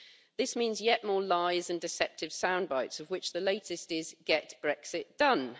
This means yet more lies and deceptive soundbites, of which the latest is Get Brexit done'.